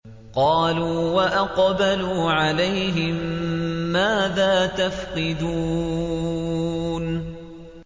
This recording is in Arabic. قَالُوا وَأَقْبَلُوا عَلَيْهِم مَّاذَا تَفْقِدُونَ